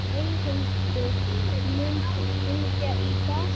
Eyhildur, mun rigna í dag?